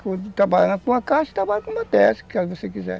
Você trabalha com a caixa e trabalha com a bateia, se você quiser.